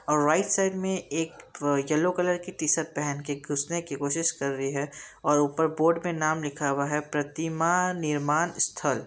और right side में एक येलो कलर की टीशर्ट पहनकर घुसने की कोशिश कर रहे हैं और ऊपर बोर्ड में नाम लिखा हुआ प्रतिमान निर्माण स्थल।